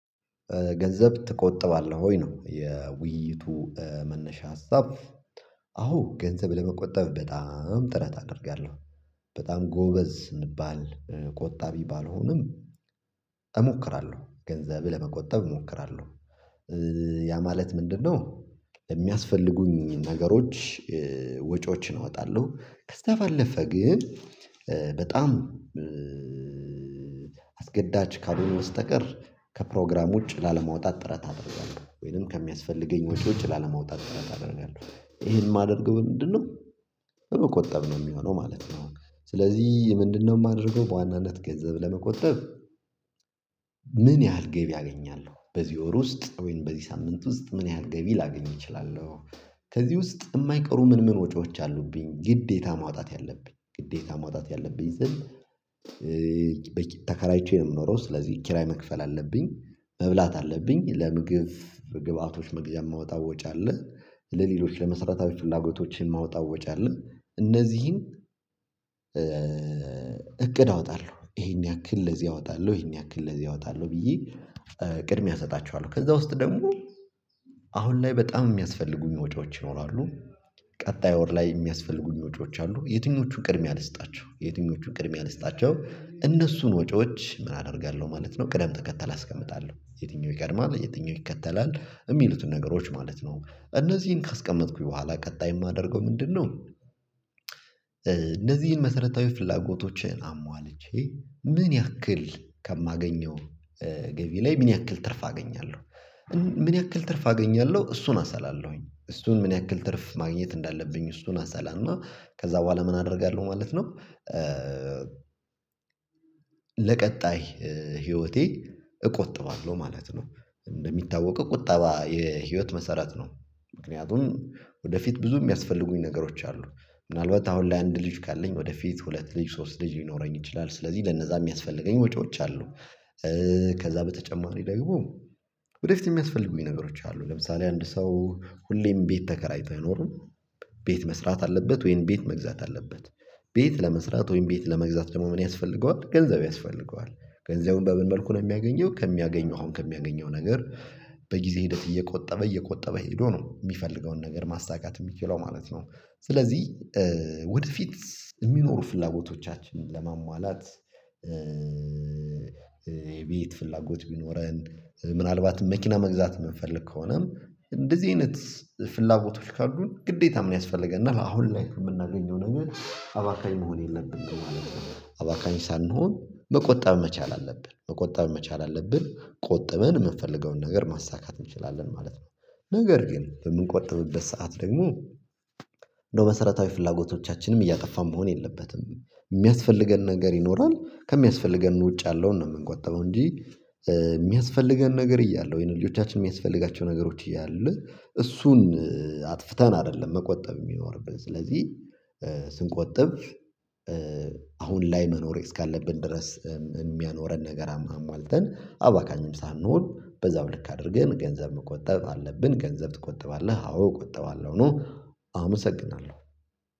ገንዘብ ትቆጥባለህ ወይ? ነው የውይይቱ መነሻ ሀሳብ። አዎ ገንዘብ ለመቆጠብ በጣም ጥረት አደርጋለሁ። በጣም ጎበዝ እምባል ቆጣቢ ባልሆንም። እሞክራለሁ ገንዘብ ለመቆጠብ እሞክራለሁ። ያ ማለት ምንድነው? ለሚያስፈልጉኝ ነገሮች ወጪዎችን አወጣለሁ። ከዛ ባለፈ ግን። በጣም አስገዳጅ ካልሆኑ በስተቀር ከፕሮግራም ውጭ ላለመውጣት ጥረት አደርጋለሁ ወይንም ከሚያስፈልገኝ ወጪዎች ላለማውጣት ጥረት አደርጋለሁ። ይሄን የማደርገው በምንድንነው? በመቆጠብ ነው የሚሆነው ማለት ነው። ስለዚህ ምንድነው የማደርገው በዋናነት ገንዘብ ለመቆጠብ። ምን ያህል ገቢ አገኛለሁ በዚህ ወር ውስጥ ወይም በዚህ ሳምንት ውስጥ ምን ያህል ገቢ ላገኝ እችላለሁ? ከዚህ ውስጥ የማይቀሩ ምን ምን ወጪዎች አሉብኝ ግዴታ ማውጣት ያለብኝ ግዴታ ማውጣት ያለብኝ ስል። ተከራይቼ ነው የምኖረው ስለዚህ ኪራይ መክፈል አለብኝ። መብላት አለብኝ ለምግብ ግብአቶች መግዣ እማወጣው ወጪ አለ። ለሌሎች ለመሰረታዊ ፍላጎቶችን እማወጣው ወጪ አለ። እነዚህን እቅድ አወጣለሁ ይሄን ያክል ለዚህ አወጣለሁ ይሄን ያክል ለዚህ አወጣለሁ ብዬ። ቅድሚያ እሰጣችኋለሁ ከዛ ውስጥ ደግሞ አሁን ላይ በጣም የሚያስፈልጉኝ ወጪዎች ይኖራሉ። ቀጣይ ወር ላይ የሚያስፈልጉኝ ወጪዎች አሉ። የትኞቹን ቅድሚያ ልስጣቸው የትኞቹን ቅድሚያ ልስጣቸው እነሱን ወጪዎች ምን አደርጋለሁ? ማለት ነው ቅደም ተከተል አስቀምጣለሁ የትኛው ይቀድማል የትኛው ይከተላል የሚሉትን ነገሮች ማለት ነው። እነዚህን ካስቀመጥኩኝ በኋላ ቀጣይ የማደርገው ምንድነው? እንደዚህን መሰረታዊ ፍላጎቶችን አሟልቼ። ምን ያክል ከማገኘው ገቢ ላይ ምን ያክል ትርፍ አገኛለሁ? ምን ያክል ትርፍ አገኛለሁ እሱን አሰላለሁኝ። እሱን ምን ያክል ትርፍ ማግኘት እንዳለብኝ እሱን አሰላለሁኝ። ከዛ በኋላ ምን አደርጋለሁ ማለት ነው። ለቀጣይ ህይወቴ እቆጥባለሁ ማለት ነው። እንደሚታወቀው ቁጠባ የህይወት መሰረት ነው። ምክንያቱም ወደፊት ብዙ የሚያስፈልጉኝ ነገሮች አሉ። ምናልባት አሁን ላይ አንድ ልጅ ካለኝ ወደፊት ሁለት ልጅ ሶስት ልጅ ሊኖረኝ ይችላል። ስለዚህ ለነዛ የሚያስፈልገኝ ወጪዎች አሉ። ከዛ በተጨማሪ ደግሞ ወደፊት የሚያስፈልጉኝ ነገሮች አሉ ለምሳሌ አንድ ሰው ሁሌም ቤት ተከራይቶ አይኖርም። ቤት መስራት አለበት ወይንም ቤት መግዛት አለበት። ቤት ለመስራት ወይንም ቤት ለመግዛት ደግሞ ምን ያስፈልገዋል ገንዘብ ያስፈልገዋል? ገንዘቡን በምን መልኩ ነው የሚያገኘው? ከሚያገኘው አሁን ከሚያገኘው ነገር በጊዜ ሂደት እየቆጠበ እየቆጠበ ሄዶ ነው የሚፈልገውን ነገር ማሳካት የሚችለው ማለት ነው። ስለዚህ ወደፊት የሚኖሩ ፍላጎቶቻችንን ለማሟላት። የቤት ፍላጎት ቢኖረን ምናልባትም መኪና መግዛት የምንፈልግ ከሆነም እንደዚህ አይነት ፍላጎቶች ካሉን ግዴታ ምን ያስፈልገናል? አሁን ላይ የምናገኘው ነገር አባካኝ መሆን የለብንም ማለት ነው። አባካኝ ሳንሆን መቆጣት መቻል አለብን መቆጠብ መቻል አለብን ቆጥበን የምንፈልገውን ነገር ማስተካከል እንችላለን ማለት ነው። ነገር ግን በምንቆጥብበት ሰዓት ደግሞ እንደው መሰረታዊ ፍላጎቶቻችንም እያጠፋን መሆን የለበትም። የሚያስፈልገን ነገር ይኖራል ከሚያስፈልገን ውጭ ያለውን ነው የምንቆጥበው እንጂ። የሚያስፈልገን ነገር እያለ ወይንም ልጆቻችን የሚያስፈልጋቸው ነገሮች እያሉ እሱን አጥፍተን አይደለም መቆጠብ የሚኖርብን ስለዚህ። ስንቆጥብ አሁን ላይ መኖር እስካለብን ድረስ እሚያኖረን ነገር አሟልተን አባካኝም ሳንሆን በዛው ልክ አድርገን ገንዘብ መቆጠጥ አለብን። ገንዘብ ትቆጥባለህ? አዎ እቆጥባለሁ ነው። አመሰግናለሁ።